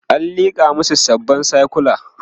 an liƙa masu sabon sikula